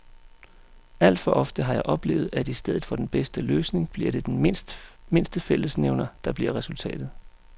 Alt for ofte har jeg oplevet, at i stedet for den bedste løsning bliver det den mindste fællesnævner, der bliver resultatet.